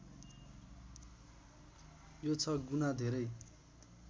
यो छ गुना धेरै